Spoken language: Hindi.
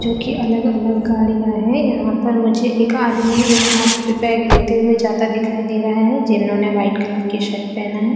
जो कि अलग-अलग गाड़ियाँ हैं यहाँ पे मुझे एक आदमी एक हाथ पे बैग लेते हुए जाता दिखाई दे रहा है जिन्होंने वाइट कलर की शर्ट पहना है।